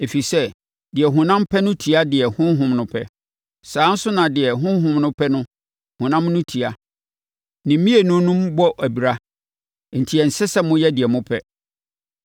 Ɛfiri sɛ, deɛ honam pɛ no tia deɛ Honhom no pɛ; saa ara nso na deɛ Honhom no pɛ no, honam no tia. Ne mmienu no bɔ abira, enti ɛnsɛ sɛ moyɛ deɛ mopɛ.